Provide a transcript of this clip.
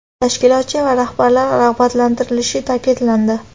tashkilotchi va rahbarlar rag‘batlantirilishi ta’kidlandi.